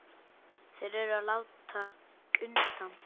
Þeir eru að láta undan.